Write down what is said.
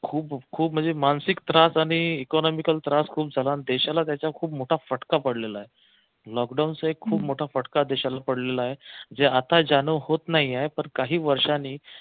खूप खूप म्हणजे मानसिक त्रास आणि economical त्रास खूप झाला देशाला त्याचा खूप मोठा फटका पडलेला आहे लॉकडाऊन चा खूप मोठा फटका देशाला पडलेला आहे जे आता ज्यानं होत नाहीये पण काही वर्षांनी